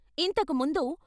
ఇంతకు ముందు.